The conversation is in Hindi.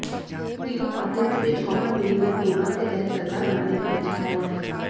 तीनों पार्टियों के बीच कॉमन मिनिमम प्रोगाम के तहत सरकार बनाने पर विचार हुआ है